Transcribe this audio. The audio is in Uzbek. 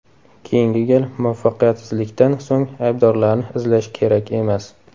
Keyingi gal muvaffaqiyatsizlikdan so‘ng aybdorlarni izlash kerak emas.